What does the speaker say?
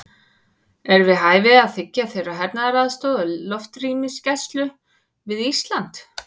Er við hæfi að þiggja þeirra hernaðaraðstoð og loftrýmisgæslu við Ísland?